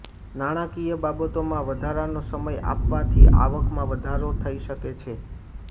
નાણાકીય બાબતોમાં વધારાનો સમય આપવાથી આવકમાં વધારો થઈ શકે છે